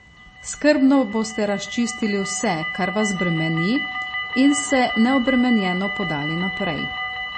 Skrbno boste razčistili vse, kar vas bremeni, in se neobremenjeno podali naprej.